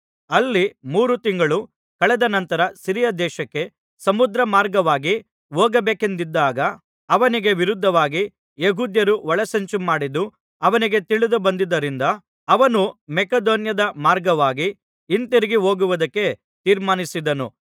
ಅಲ್ಲಿ ಮೂರು ತಿಂಗಳು ಕಳೆದ ನಂತರ ಸಿರಿಯ ದೇಶಕ್ಕೆ ಸಮುದ್ರಮಾರ್ಗವಾಗಿ ಹೋಗಬೇಕೆಂದಿದ್ದಾಗ ಅವನಿಗೆ ವಿರುದ್ಧವಾಗಿ ಯೆಹೂದ್ಯರು ಒಳಸಂಚುಮಾಡಿದ್ದು ಅವನಿಗೆ ತಿಳಿದು ಬಂದ್ದುದರಿಂದ ಅವನು ಮಕೆದೋನ್ಯದ ಮಾರ್ಗವಾಗಿ ಹಿಂತಿರುಗಿ ಹೋಗುವುದಕ್ಕೆ ತೀರ್ಮಾನಿಸಿದನು